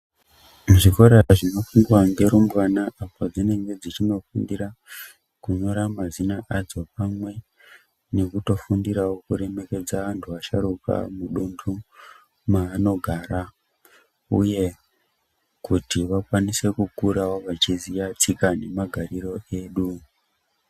Zvikora zvinofundwa ngerumbwana padzinenge dzichinofundira kunyora mazina adzo pamwe nekutofundirawo kuremekedza antu asharuka mudunhu maanogara uye kuti vakwanisewo kukura vachiziya tsika nemagarire edu.